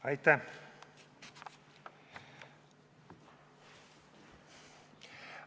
Aitäh!